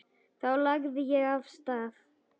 Þá lagði ég af stað.